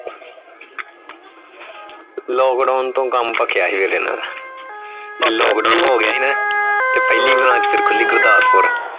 lockdown ਤੋਂ ਕੱਮ ਪਕਿਆ ਸੀ ਫੇਰ ਇਹਨਾਂ ਦਾ ਜਦੋ lockdown ਹੋ ਗਿਆ ਸੀ ਨਾ ਤੇ ਫੇਰ ਪਹਿਲੀ branch ਖੁਲੀ ਫੇਰ ਘਰਦਾਰਪੁਰ